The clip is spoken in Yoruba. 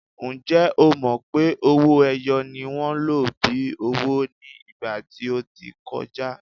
Ǹjẹ́ o mọ̀ pé owó-ẹyọ ni wọ́n lò bíi owó ní ìgbà tí ó ti kọjá?